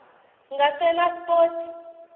ngasenaspoti